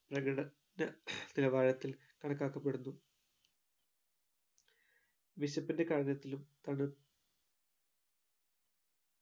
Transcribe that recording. പ്രഘട ന നിലവാരത്തിൽ കണക്കാക്കപ്പെടുന്നു വിശപ്പിന്റെ കാഠിന്യത്തിലും തണു